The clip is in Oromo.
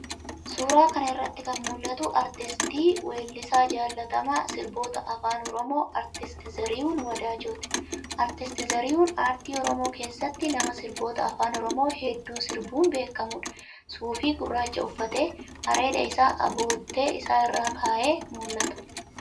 Suuraa kana irratti kan mul'atu aartistii, weellisaa jaallatamaa sirboota afaan Oromoo aartist Zarihuun Wadaajooti. Aartist Zarihuun aartii Oromoo keessatti nama sirboota afaan Oromoo hedduu sirbuun beekamuudha. Suufii gurraacha uffatee, areeda isaa aboottee isaa irra kaa'ee mul'ata.